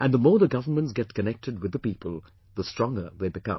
And the more the governments get connected with the people, the stronger they become